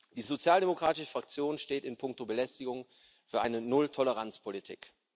Die sozialdemokratische Fraktion steht in puncto Belästigung für eine Nulltoleranzpolitik.